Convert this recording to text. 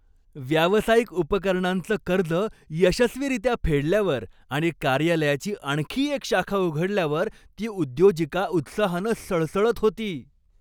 व्यावसायिक उपकरणांच कर्ज यशस्वीरित्या फेडल्यावर आणि कार्यालयाची आणखी एक शाखा उघडल्यावर ती उद्योजिका उत्साहानं सळसळत होती.